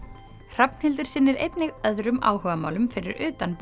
Hrafnhildur sinnir einnig öðrum áhugamálum fyrir utan